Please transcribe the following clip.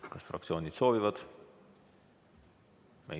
Kas fraktsioonid soovivad?